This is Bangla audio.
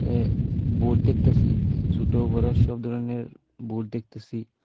এ বোর্ড দেখতাসি ছোট বড়ো সবধরনের বোর্ড দেখতাসি।